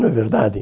Não é verdade?